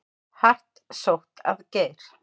Hart sótt að Geir